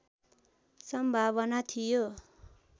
सम्भावना थियो